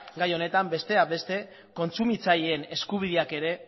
gai honetan besteak beste kontsumitzaileen eskubideak ere